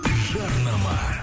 жарнама